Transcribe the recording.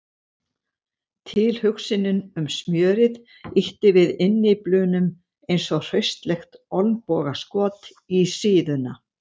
Tilhugsunin um smjörið ýtti við innyflunum eins og hraustlegt olnbogaskot í síðuna.